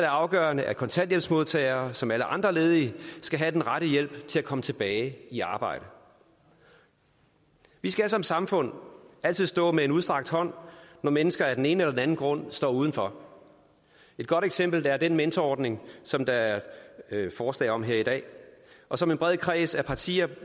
afgørende at kontanthjælpsmodtagere som alle andre ledige skal have den rette hjælp til at komme tilbage i arbejde vi skal som samfund altid stå med en udstrakt hånd når mennesker af den ene eller den anden grund står udenfor et godt eksempel er den mentorordning som der er forslag om her i dag og som en bred kreds af partier